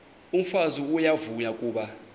umfazi uyavuya kuba